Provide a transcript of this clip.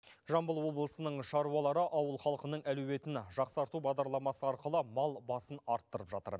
жамбыл облысының шаруалары ауыл халқының әлеуетін жақсарту бағдарламасы арқылы мал басын арттырып жатыр